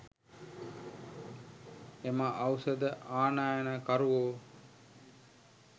එම ඖෂධ ආනයනකරුවෝ